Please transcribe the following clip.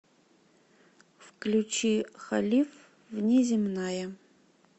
включи халиф внеземная